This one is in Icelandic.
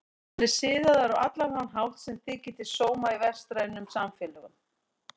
Hann er siðaður á allan þann hátt sem þykir til sóma í vestrænum samfélögum.